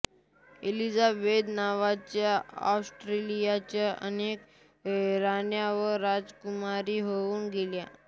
Elizabeth नावाच्या ऑस्ट्रियाच्या अनेक राण्या व राजकुमारी होउन गेल्या